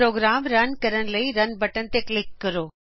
programme run ਕਰਨ ਲਈ run button click ਕਰੋ